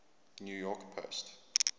new york post